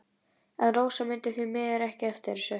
En Rósa mundi því miður ekki eftir þessu.